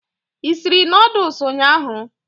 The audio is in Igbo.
I sịrị noodles ụnyaahụ?